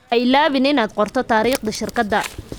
Ha iloobin inaad qorto taariikhda shirkadda.